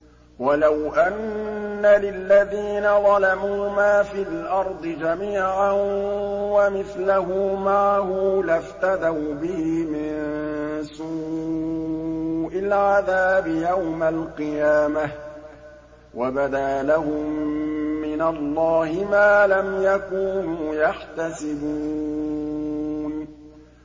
وَلَوْ أَنَّ لِلَّذِينَ ظَلَمُوا مَا فِي الْأَرْضِ جَمِيعًا وَمِثْلَهُ مَعَهُ لَافْتَدَوْا بِهِ مِن سُوءِ الْعَذَابِ يَوْمَ الْقِيَامَةِ ۚ وَبَدَا لَهُم مِّنَ اللَّهِ مَا لَمْ يَكُونُوا يَحْتَسِبُونَ